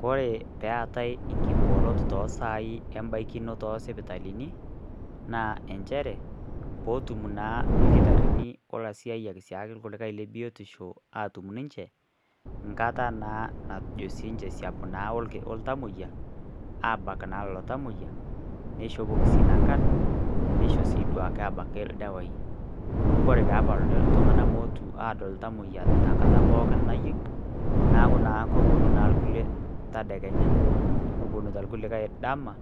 Kore peetai inkibooro toosai embaikinoto oosipitalini naa inchere pootum naa irkitarini olaisiayiak lebiotisho aaatum ninche enkata naa najo niininche esiap naa oltamoyia aabak naa lelo tamoyiai neishopoki sii nena nankan neisho sii duake naa ildawai amu ore pee epali iltung'anak peepuonu aadol iltamoyia pookin nayieu naaku naa kepuonu irkulie tedekenya nepuonita irkulilae dama